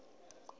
nga pfi ho vha na